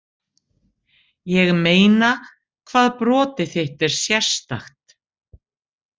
ég meina hvað brotið þitt er sérstakt.